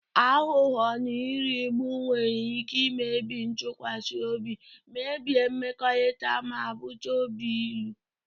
Aghụghọ na nrigbu nwere ike imebi ntụkwasị obi, mebie mmekọrịta, ma bute obi ilu.